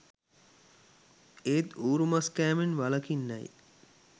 ඒත් ඌරු මස් කෑමෙන් වළකින්නැ යි